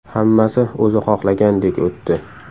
Hammasi o‘zi xohlagandek o‘tdi.